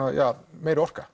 meiri orka